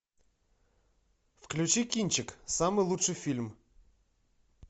включи кинчик самый лучший фильм